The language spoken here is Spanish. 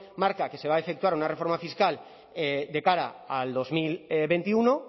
marca que se va a efectuar una reforma fiscal de cara al dos mil veintiuno